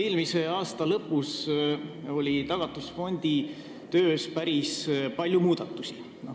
Eelmise aasta lõpus toimus Tagatisfondi töös päris palju muudatusi.